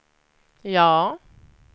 ja